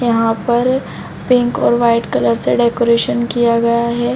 यहाँ पर पिंक और वाइट कलर से डेकोरेशन किया गया है